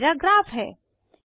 यहाँ मेरा ग्राफ है